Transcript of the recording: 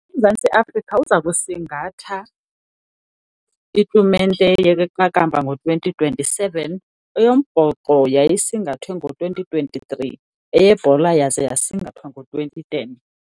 UMzantsi Afrika uza kusingatha itumente yeqakamba ngo-twenty twenty-seven. Eyombhoxo yayisingathwe ngo-twenty twenty-three, eyebhola yaze yasingathwa ngo-twenty ten.